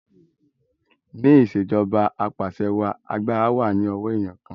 ni Ìṣèjọba Apàṣẹwàá àgbàrá wá ní owo eniyan kán.